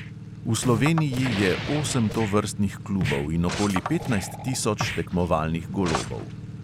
V sloveniji je osem tovrstnih klubov in okoli petnajst tisoč tekmovalnih golobov.